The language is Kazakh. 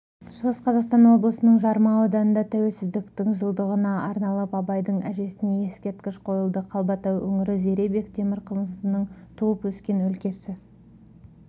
шығыс қазақстан облысының жарма ауданында тәуелсіздіктің жылдығына арналып абайдың әжесіне ескерткіш қойылды қалбатау өңірі зере бектемірқызының туып өскен өлкесі